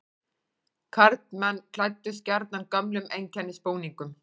Karlmenn klæddust gjarnan gömlum einkennisbúningum.